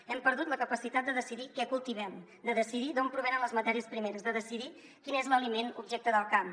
hem perdut la capacitat de decidir què cultivem de decidir d’on provenen les matèries primeres de decidir quin és l’aliment objecte del camp